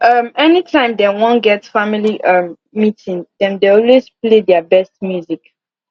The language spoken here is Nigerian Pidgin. um any time dem wan get family um meeting dem dey always play their best music